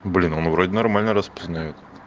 блин он вроде нормально распознает